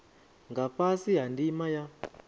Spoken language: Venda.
nga fhasi ha ndima ya